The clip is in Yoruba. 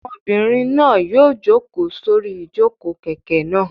Ọmọbìnrin náà yóò jókòó sórí ìjókòó kẹ̀kẹ́ náà.